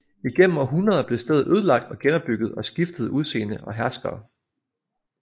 Igennem århundreder blev stedet ødelagt og genopbygget og skiftede udseende og herskere